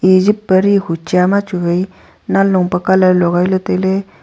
e jep pari hucha ma cha wai nan long pe colour logai ley tai ley.